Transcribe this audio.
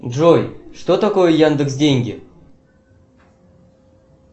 джой что такое яндекс деньги